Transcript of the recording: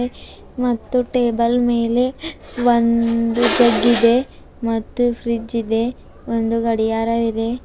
ಮತ್ತು ಟೇಬಲ್ ಮೇಲೆ ಒಂದು ಜಗ್ಗಿದೆ ಮತ್ತು ಫ್ರಿಜ್ ಇದೆ ಒಂದು ಗಡಿಯಾರ ಇದೆ.